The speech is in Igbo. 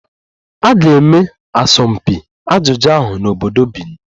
A ga-eme asọmpi ajụjụ ahụ n'obodo Benin